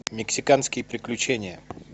мексиканские приключения